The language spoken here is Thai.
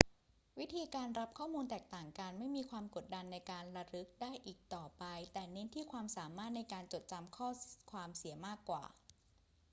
วิธีการรับข้อมูลแตกต่างกัน ไม่มีความกดดันในการระลึกได้อีกต่อไป แต่เน้นที่ความสามารถในการจดจำข้อความเสียมากกว่า